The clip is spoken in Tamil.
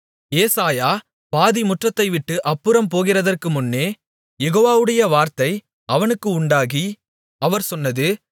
ஏசாயா பாதி முற்றத்தைவிட்டு அப்புறம் போகிறதற்குமுன்னே யெகோவவுடைய வார்த்தை அவனுக்கு உண்டாகி அவர் சொன்னது